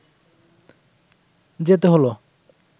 যেতে হল